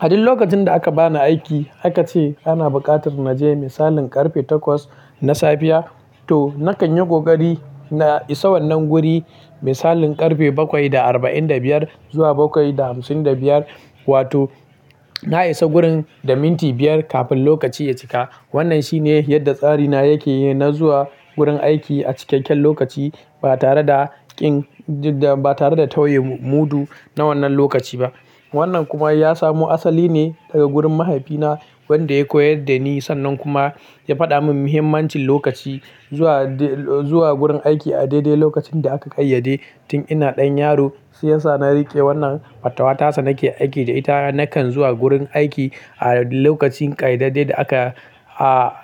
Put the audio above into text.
A duk lokacin da aka bani aiki aka ce ana buƙatar na je misalin ƙarfe takwas na safiya to na kanyi kokari na isa wannan guri misalin ƙarfe bakwai da arba'in da biyar zuwa bakwai da hamsin da biyar wato na isa gurin da minti biyar kafin lokaci ya cika. Wannan shine yadda tsari na yake, na zuwa gurin aiki a cikakken lokaci ba tare da ƙin, ba tare da tauye mudu na wannan lokaci ba. Wannan kuma ya samu asali ne daga gurin mahaifina wanda ya koyar da ni sannan kuma ya faɗa min muhimmancin lokaci. Zuwa, zuwa gurin aiki a daidai lokacin da aka ƙayyade tun ina ɗan yaro shiyasa na riƙe wannan fatawa tasa nake aiki da ita nakan zuwa gurin aiki a lokacin ƙayyadadde da aka